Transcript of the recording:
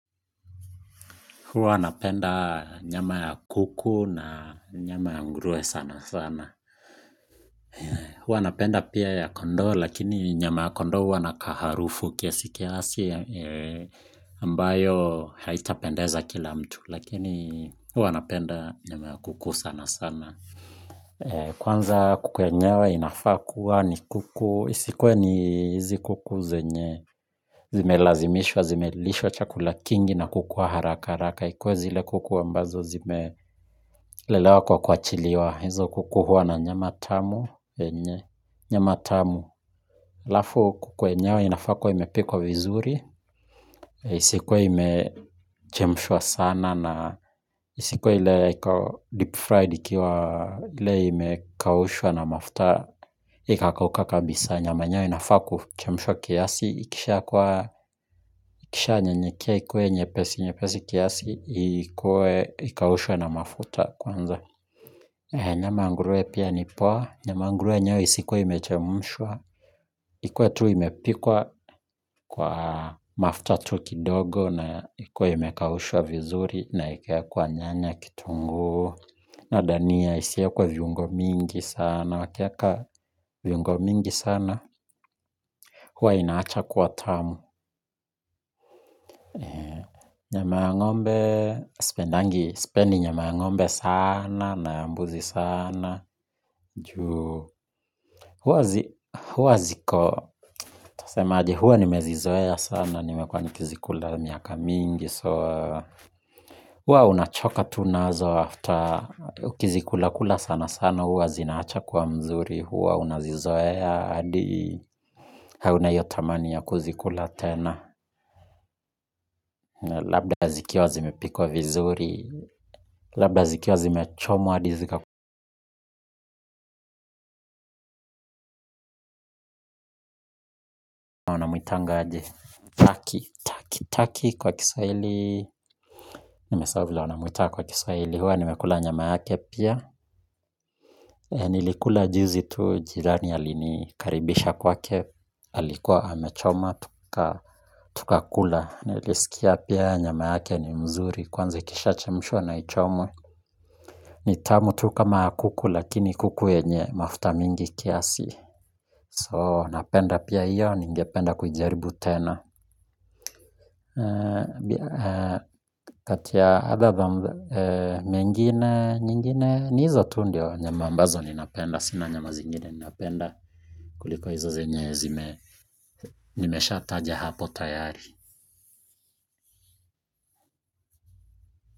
Huwa napenda nyama ya kuku na nyama ya nguruwe sana sana. Huwa napenda pia ya kondoo lakini nyama ya kondoo huwa na kaharufu kiasi kiasi ambayo haitapendeza kila mtu lakini huwa napenda nyama ya kuku sana sana. Kwanza kuku yenyewe inafaa kuwa ni kuku, isikuwe ni hizi kuku zenye. Zimelazimishwa, zimelishwa chakula kingi na kukua haraka haraka ikuwe zile kuku ambazo zimelelewa kwa kuachiliwa hizo kuku huwa na nyama tamu nyama tamu halafu kuku yenyewe inafaa kuwa imepikwa vizuri isikuwe imechemshwa sana na isikuwe ila deep fried ikiwa ile imekaushua na mafuta ikakakauka kabisa nyama yenyewe inafaa kuchemshwa kiasi. Ikisha kuwa, ikisha nyenyekra ikue nyepesi, nyepesi kiasi ikue ikaushwe na mafuta kwanza nyama ya nguruwe pia ni poa nyama ya nguruwe yenyewe isikuwe imechemshwa ikue tu imepikwa kwa mafuta tu kidogo na ikue imekaushwa vizuri na ikaekws kwa nyanya kitungu na dania isiwekwe viungo mingi sana. Wakieka viungo mingi sana huwa inaacha kuwa tamu nyama ya ng ombe, sipendangi, sipendi nyama ya ng'ombe sana, na mbuzi sana, juu huwa ziko nitasemaje huwa nimezizoea sana nimekuwa nikizikula miaka mingi. So, huwa unachoka tu nazo after ukizikula kula sana sana huwa zinawacha kuwa mzuri huwa unazizoea hadi hauna hiyo tamani ya kuzikula tena labda zikiwa zimepikwa vizuri labda zikiwa zimechomwa hadi zika wanamuitanga aje Turkey Turkey kwa kiswaili. Nimesahau vilr wanamuita kwa Kiswahili huwa nimekula nyama yake pia. Nilikula juzi tu jirani alinikaribisha kwake alikuwa amechoma tukakula. Nilisikiapia nyama yake ni mzuri kwanza ikisha chemshwa na ichomwe ni tamu tu kama ya kuku lakini kuku yenye mafuta mingi kiasi. So napenda pia hiyo. Ningependa kujaribu tena kati ya other than mengine, nyingine ni hizo tu ndio nyama ambazo ninapenda sina nyama zingine ninapenda kuliko hizo zenye zime nimeshataja hapo tayari.